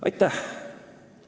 Aitäh!